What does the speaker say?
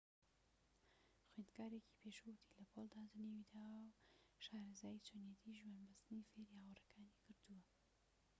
خوێندکارێکی پێشوو وتی لە پۆلدا جنێوی داوە و شارەزایی چۆنیەتی ژوان بەستنی فێری هاوڕێکانی کردووە